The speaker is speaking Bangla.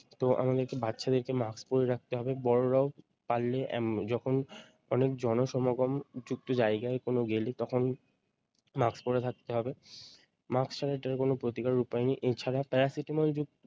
তো আমাদেরকে বাচ্চাদেরকে মাস্ক পরিয়ে রাখতে হবে বড়োরাও পারলে উম যখন অনেক জনসমাগম যুক্ত জায়গায় কোনো গেলে তখন মাস্ক পরে থাকতে হবে। মাস্ক ছাড়া এটার কোনো প্রতিকারের উপায় নেই এছাড়া Paracetamol যুক্ত